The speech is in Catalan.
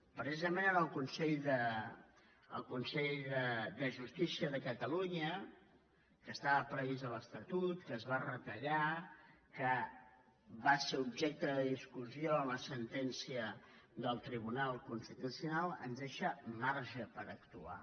precisament el consell de justícia de catalunya que estava previst a l’estatut que es va retallar que va ser objecte de discussió en la sentència del tribunal constitucional ens deixa marge per actuar